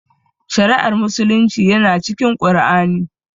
Shari'ar musulunci yana cikin Qur'ani